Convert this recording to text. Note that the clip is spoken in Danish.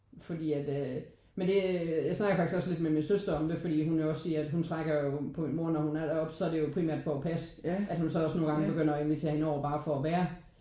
Fordi at øh men det øh jeg snakkede faktisk også lidt med min søster om det fordi hun også siger hun trækker jo på mor eller når hun er deroppe så er det jo primært for at passe. At hun nu også nogle gange begynder at invitere hende over bare for at være.